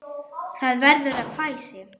Það verður að hvæsi.